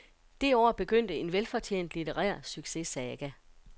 Det år begyndte en velfortjent litterær successaga.